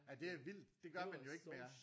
Ej det er vildt det gør man jo ikke mere